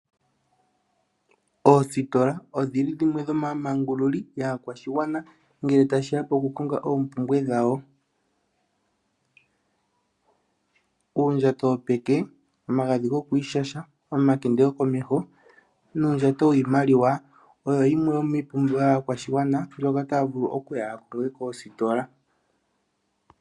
Oositola odhi li dhimwe dhomaamangululi yaakwashigwana ngele tashi ya pokukonga oompumbwe dhawo. Uundjato wopeke, omagadhi gokwiishasha, omakende gokomeho nuundjato wiimaliwa oyo yimwe yomiipumbiwa yaakwashigwana mbyoka taya vulu okuya ya konge koositola.